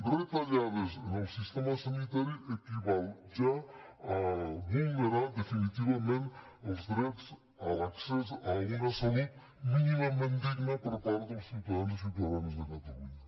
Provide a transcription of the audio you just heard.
retallades en el sistema sanitari equival ja a vulnerar definitivament els drets a l’accés a una salut mínimament digna per part dels ciutadans i ciutadanes de catalunya